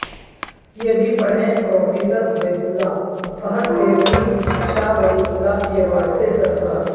یہ بھی پڑھیں پروفیسر عبید اللہ فہد تیرہویں شاہ ولی اللہ ایوارڈ سے سرفراز